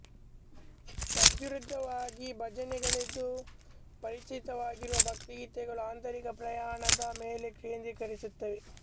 ತದ್ವಿರುದ್ಧವಾಗಿ ಭಜನೆಗಳೆಂದು ಪರಿಚಿತವಿರುವ ಭಕ್ತಿಗೀತೆಗಳು ಆಂತರಿಕ ಪ್ರಯಾಣದ ಮೇಲೆ ಕೇಂದ್ರೀಕರಿಸುತ್ತವೆ